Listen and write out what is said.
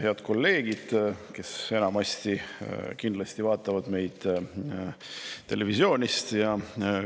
Head kolleegid, kes enamasti kindlasti vaatavad meid televisioonist!